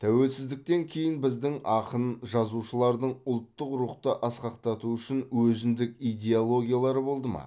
тәуелсіздіктен кейін біздің ақын жазушылардың ұлттық рухты асқақтату үшін өзіндік идеологиялары болды ма